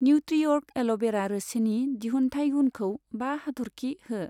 निउत्रिअर्ग एल'भेरा रोसिनि दिहुनथाइ गुनखौ बा हाथरखि हो।